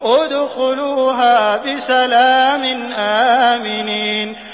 ادْخُلُوهَا بِسَلَامٍ آمِنِينَ